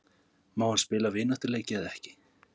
Má hann spila vináttuleiki eða ekki?